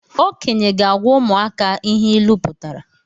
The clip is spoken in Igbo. Okenye ga-agwa ụmụaka ihe ịlụ pụtara